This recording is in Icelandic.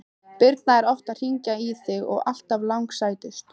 Birna er oft að hringja í þig og alltaf langsætust!